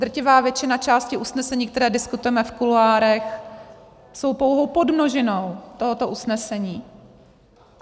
Drtivá většina části usnesení, které diskutujeme v kuloárech, jsou pouhou podmnožinou tohoto usnesení.